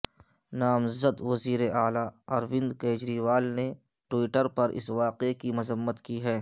نامزد وزیر اعلی اروند کیجریوال نے ٹوئیٹر پر اس واقعے کی مذمت کی ہے